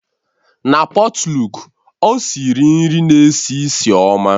Na pọtluk, ọ siri nri na-esi ísì ọma.